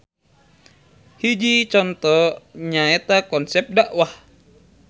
Hiji conto nyaeta konsep dakwah.